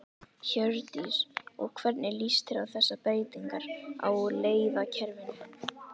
Hjördís: Og hvernig líst þér á þessar breytingar á leiðakerfinu?